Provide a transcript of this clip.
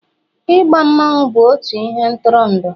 I gba mmanwu bụ otu ihe ntụrụndụ